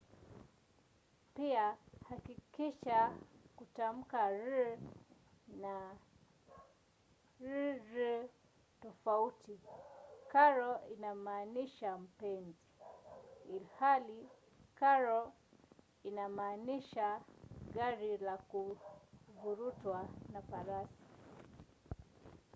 pia hakikisha kutamka r na rr tofauti: caro inamaanisha mpenzi ilhali carro inamaanisha gari la kuvurutwa na farasi